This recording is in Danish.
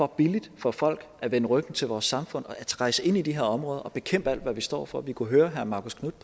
billigt for folk at vende ryggen til vores samfund ved rejse ind i de her områder og bekæmpe alt hvad vi står for vi kunnet høre herre marcus knuth